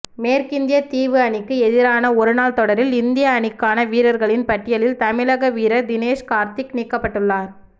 மேற்கிந்திய தீவு அணிக்கு எதிரான ஒருநாள் தொடரில் இந்திய அணிக்கான வீரர்களின் பட்டியலில் தமிழக வீரர் தினேஷ் கார்த்திக்நீக்கப்பட்டுள்ளார்